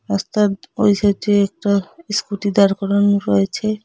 ওস্তাদ বয়স হয়েছে একটা স্কুটি দাঁড় করানো রয়েছে।